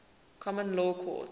common law courts